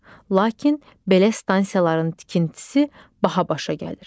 Lakin belə stansiyaların tikintisi baha başa gəlir.